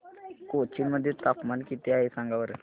कोचीन मध्ये तापमान किती आहे सांगा बरं